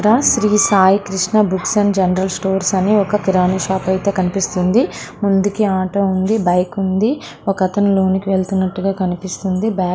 ఇదంతా Shri Sai Krishna books and general stores అని కిరాణా షాప్ అయితే కనిపిస్తుంది ముందు ఒక ఆటో ఒక బైకు ఒక అతను బైక్ మీద వెళ్తున్నట్టుగా కనిపిస్తుంది.